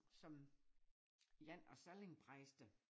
Som en af sallingpræster